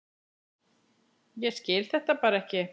Ég skil þetta bara ekki.